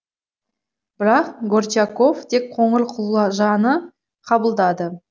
бірақ горчаков тек қоңырқұлажаны қабылдады